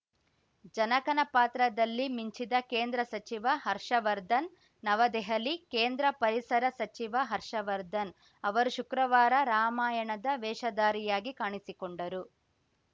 ಜನಕನ ಪಾತ್ರದಲ್ಲಿ ಮಿಂಚಿದ ಕೇಂದ್ರ ಸಚಿವ ಹರ್ಷವರ್ಧನ್‌ ನವದೆಹಲಿ ಕೇಂದ್ರ ಪರಿಸರ ಸಚಿವ ಹರ್ಷವರ್ಧನ್‌ ಅವರು ಶುಕ್ರವಾರ ರಾಮಾಯಣದ ವೇಷಧಾರಿಯಾಗಿ ಕಾಣಿಸಿಕೊಂಡರು